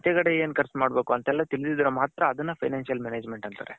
ಆಚೆ ಕಡೆ ಏನು ಕರ್ಚು ಮಾಡ್ಬೇಕು ಅಂತೆಲ್ಲ ತಿಳ್ದಿದ್ರೆ ಮಾತ್ರ ಅದುನ್ನ financial management ಅಂತಾರೆ.